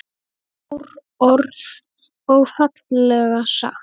Stór orð og fallega sagt.